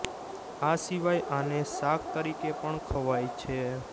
આ સિવાય આને શાક તરીકે પણ ખવાય છે